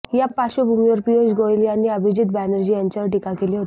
या पार्श्वभूमीवर पियुष गोयल यांनी अभिजित बॅनर्जी यांच्यावरच टीका केली होती